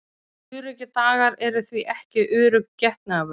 Öruggir dagar eru því ekki örugg getnaðarvörn.